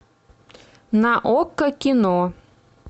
на окко кино